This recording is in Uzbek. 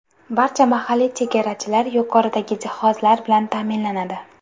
Barcha mahalliy chegarachilar yuqoridagi jihozlar bilan ta’minlanadi.